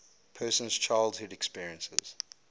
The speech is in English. person's childhood experiences